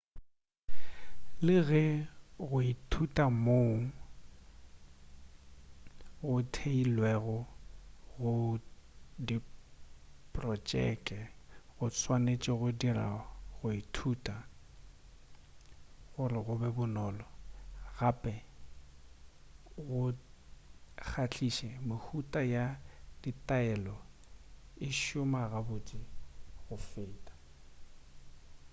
le ge go ithuta moo go theilwego go diprotšeke go swanetše go dira go ithuta go be bonolo gape go kgahliše mehuta ya ditaelo e šoma gabotse go feta